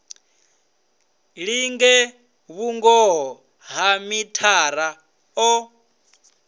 linge vhungoho ha mithara o